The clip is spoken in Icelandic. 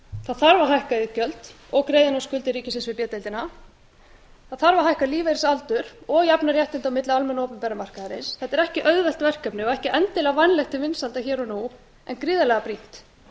það þarf að hækka iðgjöld og greiða inn á skuldir ríkisins við b deildina það þarf að hækka lífeyrisaldur og jafna réttindi á milli almenna og opinbera markaðarins þetta er ekki auðvelt verkefni og ekki endilega vænlegt til vinsælda hér og nú en gríðarlega brýnt